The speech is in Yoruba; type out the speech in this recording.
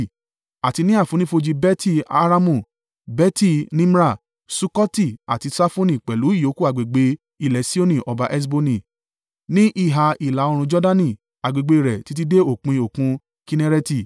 àti ní àfonífojì Beti-Haramu, Beti-Nimra, Sukkoti àti Safoni pẹ̀lú ìyókù agbègbè ilẹ̀ Sihoni ọba Heṣboni (ní ìhà ìlà-oòrùn Jordani, agbègbè rẹ̀ títí dé òpin Òkun Kinnereti).